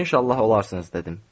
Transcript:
İnşallah olarsınız, dedim.